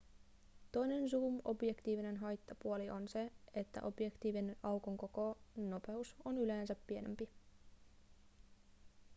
toinen zoom-objektiivien haittapuoli on se että objektiivin aukon koko nopeus on yleensä pienempi